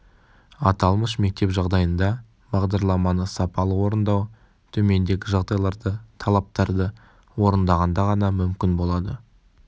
аталмыш мектеп жағдайында бағдарламаны сапалы орындау төмендегі жағдайларды талаптарды орындағанда ғана мүмкін болады